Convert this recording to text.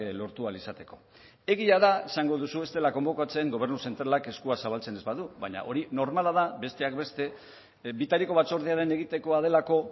lortu ahal izateko egia da esango duzu ez dela konbokatzen gobernu zentralak eskua zabaltzen ez badu baina hori normala da besteak beste bitariko batzordearen egitekoa delako